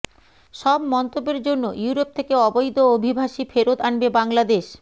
সব মন্তব্যের জন্য ইউরোপ থেকে অবৈধ অভিবাসী ফেরত আনবে বাংলাদেশ